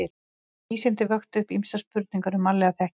En vísindin vöktu upp ýmsar spurningar um mannlega þekkingu.